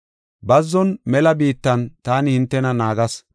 Bazzon, mela biittan taani hintena naagas.